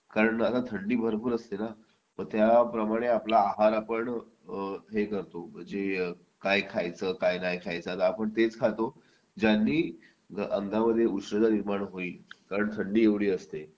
का तर थंडी भरपूर असते ना मग त्याप्रमाणे आपला आहार आपण हे करतो म्हणजे काय खायचं काय नाही खायचं आता आपण तेच खातो ज्यांनी अंगामध्ये उष्णता निर्माण होईल कारण थंडी एवढी असते